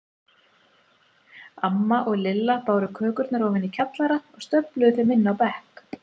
Amma og Lilla báru kökurnar ofan í kjallara og stöfluðu þeim inn á bekk.